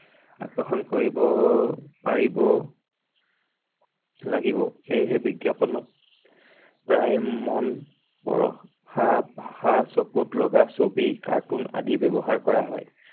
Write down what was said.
আকষৰ্ণ কৰিব পাৰিব লাগিব সেয়েহে বিজ্ঞাপনক প্ৰায় মন পৰশা ভাষা চকুত লগা ছবি, cartoon আদি ব্যৱহাৰ কৰা হয়।